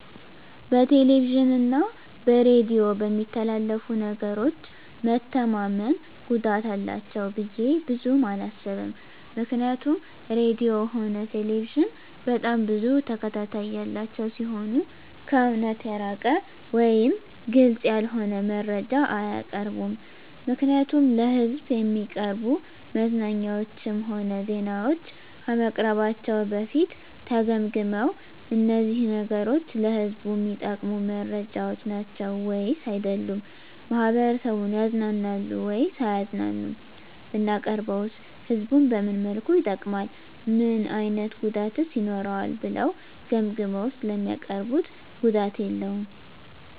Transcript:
በቴሌቪዥን እና በሬዲዮ በሚተላለፉ ነገሮች መተማመን ጉዳት አላቸው ብዬ ብዙም አላስብም ምክንያቱም ራድዮም ሆነ ቴሌቪዥን በጣም ብዙ ተከታታይ ያላቸው ሲሆኑ ከእውነት የራቀ ወይም ግልፅ ያልሆነ መረጃ አያቀርቡም ምክንያቱም ለሕዝብ እሚቀርቡ መዝናኛዎችም ሆነ ዜናዎች ከመቅረባቸው በፊት ተገምግመው እነዚህ ነገሮች ለህዝቡ እሚጠቅሙ መረጃዎች ናቸው ወይስ አይደሉም፣ ማህበረሰቡን ያዝናናሉ ወይስ አያዝናኑም፣ ብናቀርበውስ ህዝቡን በምን መልኩ ይጠቅማል እና ምን አይነት ጉዳትስ ይኖረዋል ብለው ገምግመው ስለሚያቀርቡት ጉዳት የለውም።